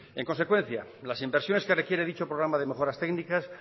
en consecuencia las inversiones que requiere dicho programa de mejoras técnicas